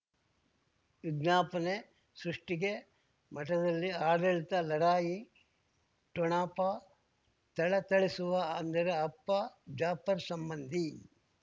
ವಿಜ್ಞಾಪನೆ ಸೃಷ್ಟಿಗೆ ಮಠದಲ್ಲಿ ಆಡಳಿತ ಲಢಾಯಿ ಠೊಣಪ ಥಳಥಳಿಸುವ ಅಂದರೆ ಅಪ್ಪ ಜಾಫರ್ ಸಂಬಂಧಿ